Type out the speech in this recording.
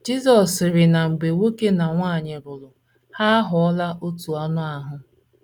Jizọs sịrị na mgbe nwoke na nwanyị lụrụ, ha aghọọla otu anụ ahụ́.